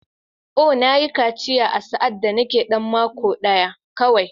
Oh! Na yi kaciya sa’ad da nake ɗan mako ɗaya kawai.